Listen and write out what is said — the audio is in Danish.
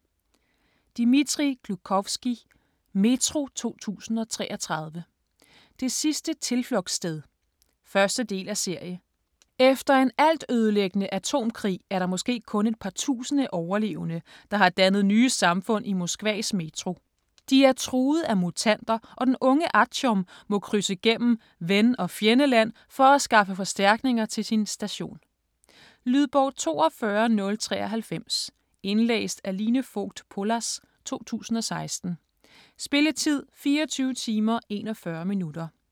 Gluchovskij, Dmitrij: Metro 2033: det sidste tilflugtssted 1. del af serie. Efter en altødelæggende atomkrig er der måske kun et par tusinde overlevende, der har dannet nye samfund i Moskvas Metro. De er truet af mutanter, og den unge Artjom må krydse gennem ven- og fjendeland for at skaffe forstærkninger til sin station. Lydbog 42093 Indlæst af Line Fogt Pollas, 2016. Spilletid: 24 timer, 41 minutter.